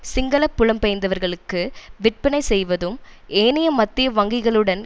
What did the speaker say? சிங்கள புலம்பெயர்ந்தவர்களுக்கு விற்பனை செய்வதும் ஏனைய மத்திய வங்கிகளுடன்